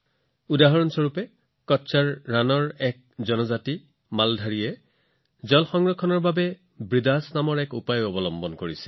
উদাহৰণ স্বৰূপে কচ্ছৰ ৰণৰ মালধাৰীয়ে নামৰ এটা জনজাতি পানী সংৰক্ষণৰ বাবে বৃদাস নামৰ পদ্ধতিটো ব্যৱহাৰ কৰে